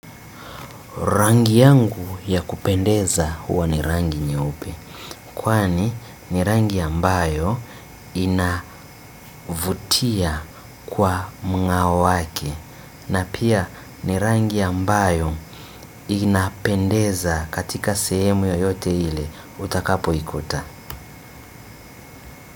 Rangi yangu ya kupendeza huwa ni rangi nyeupe. Kwani ni rangi ambayo inavutia kwa mng'ao wake. Na pia ni rangi ambayo inapendeza katika sehemu yoyote ile utakapoikuta.